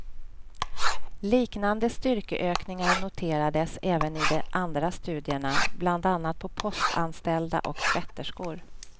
Liknande styrkeökningar noterades även i de andra studierna, bland annat på postanställda och tvätterskor.